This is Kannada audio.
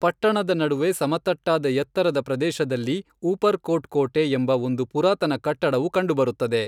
ಪಟ್ಟಣದ ನಡುವೆ ಸಮತಟ್ಟಾದ ಎತ್ತರದ ಪ್ರದೇಶದಲ್ಲಿ ಊಪರ್ಕೋಟ್ ಕೋಟೆ ಎಂಬ ಒಂದು ಪುರಾತನ ಕಟ್ಟಡವು ಕಂಡುಬರುತ್ತದೆ.